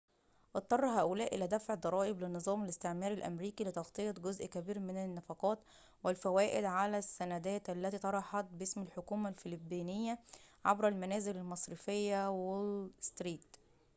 اضطر هؤلاء إلى دفع الضرائب للنظام الاستعماري الأميركي لتغطية جزء كبير من النفقات والفوائد على السندات التي طرحت باسم الحكومة الفلبينية عبر المنازل المصرفية وول ستريت